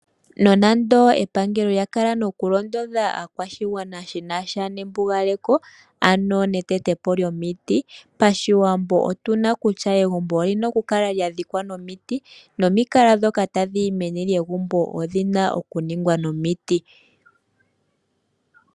Nonando epangelo lya kala no kulondodha aakwashigwana shinasha nembugaleko ano etete po lyomiti. Pashiwambo otuna okutya egumbo olyina oku kala lya dhikwa nomiti, nomikala dhoka tadhi yi meni lyegumbo odhina oku ningwa nomiti.